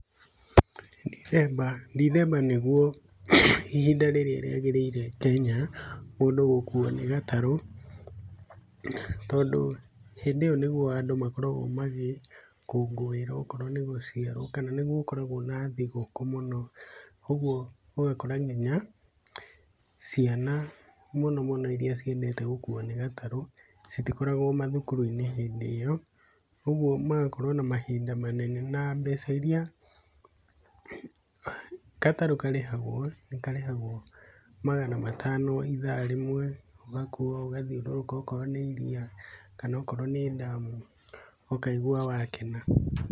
Ndithemba nĩguo ihinda rĩrĩa rĩagĩrĩire Kenya mũndũ gũkuo nĩ gatarũ, tondũ hĩndĩ ĩyo nĩguo andũ makoragwo magĩkũngũĩra okorwo nĩ gũciarwo kana nĩguo gũkoragwo na thigũkũ mũno ũguo ũgakora nginya ciana mũno mũno iria ciendete gũkuo nĩ gatarũ, citikoragwo mathukuru-inĩ hĩndĩ ĩyo ũguo magakorwo na mahinda manene na mbeca iria gatarũ karĩhagwo nĩ karĩhagwo magana matano ithaa rĩmwe ũgakuo ũgathiũrũrũka okorwo nĩ iria, kana okorwo nĩ damu ũkaigua wakena.